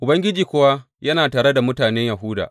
Ubangiji kuwa yana tare da mutane Yahuda.